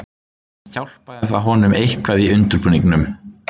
Hjálpaði það honum eitthvað í undirbúningnum.